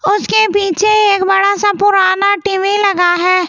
उसके पीछे एक बड़ा सा पुराना टी_वि लगा है ते